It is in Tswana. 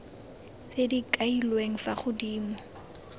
tse di kailweng fa godimo